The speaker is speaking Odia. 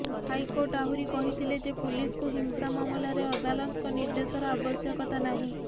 ହାଇକୋର୍ଟ ଆହୁରି କହିଥିଲେ ଯେ ପୁଲିସକୁ ହିଂସା ମାମଲାରେ ଅଦାଲତଙ୍କ ନିର୍ଦେଶର ଆବଶ୍ୟକତା ନାହିଁ